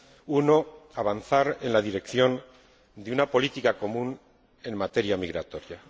Uno, avanzar en la dirección de una política común en materia migratoria